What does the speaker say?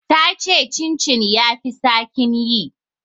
Ta ce chin chin ya fi saƙin yi.